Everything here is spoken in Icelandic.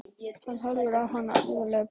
Hann horfir á hana alvarlegur í bragði.